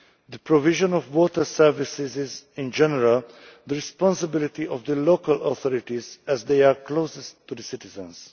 The provision of water services is in general the responsibility of the local authorities, as they are closest to the citizens.